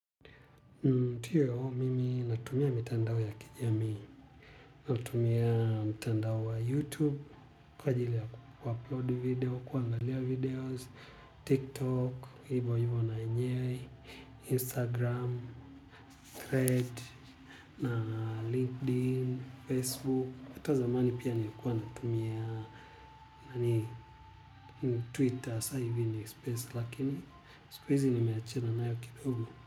Tuyo yao mimi natumia mitandao ya kijamii, natumia mitandao wa youtube, kwa ajili ya kuupload video, kuandalia videos, tiktok, hivo hivo na yenye, instagram, thread, na linkedin, facebook, hata zamani pia nilikuwa natumia nani twitter saa hivi ni space lakini siku hizi nimeachana nayo kidogo.